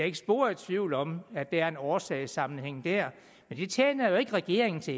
ikke spor i tvivl om at der er en årsagssammenhæng der men det tjener jo ikke regeringen til